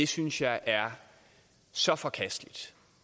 synes jeg er så forkasteligt